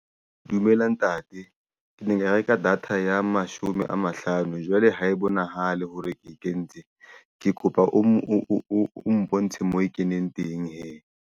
Dumela Ntate. Ke ne nka reka data ya mashome a mahlano. Jwale ha e bonahale hore ke e kentse ke kopa o mpontshe mo e keneng teng hee.